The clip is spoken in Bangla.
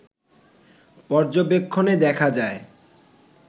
পর্যবেক্ষণে দেখা যায়